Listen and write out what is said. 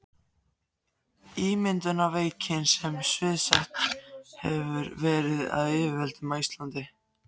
Ímyndunarveikinni, sem sviðsett hefur verið af yfirvöldum á Íslandi í